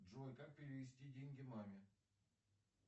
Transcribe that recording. джой как перевести деньги маме